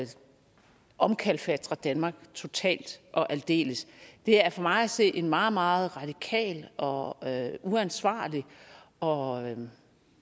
omkalfatre danmark totalt og aldeles det er for mig at se en meget meget radikal og uansvarlig og